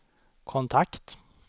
kontakt